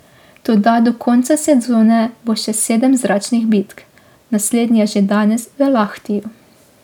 Toda do konca sezone bo še sedem zračnih bitk, naslednja že danes v Lahtiju.